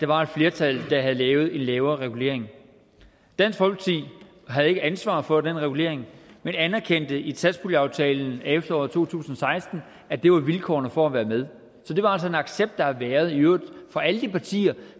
var et flertal der havde lavet en lavere regulering dansk folkeparti havde ikke ansvar for den regulering men anerkendte i satspuljeaftalen i efteråret to tusind og seksten at det var vilkårene for at være med så det var altså en accept der har været fra alle de partier